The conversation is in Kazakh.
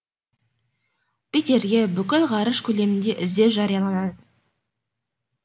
питерге бүкіл ғарыш көлемінде іздеу жарияланады